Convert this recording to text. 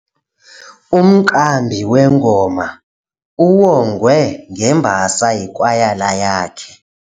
Umqambi wengoma uwongwe ngembasa yikwayala yakhe.